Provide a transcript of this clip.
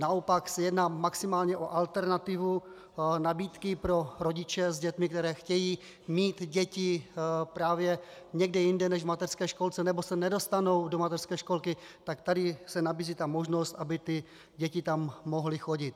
Naopak se jedná maximálně o alternativu nabídky pro rodiče s dětmi, kteří chtějí mít děti právě někde jinde než v mateřské školce nebo se nedostanou do mateřské školky - tak tady se nabízí ta možnost, aby ty děti tam mohly chodit.